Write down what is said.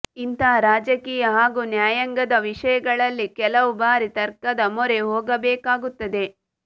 ಇಂತಹ ರಾಜಕೀಯ ಹಾಗೂ ನ್ಯಾಯಾಂಗದ ವಿಷಯಗಳಲ್ಲಿ ಕೆಲವು ಬಾರಿ ತರ್ಕದ ಮೊರೆ ಹೋಗಬೇಕಾಗುತ್ತದೆ